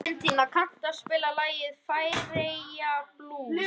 Valentína, kanntu að spila lagið „Færeyjablús“?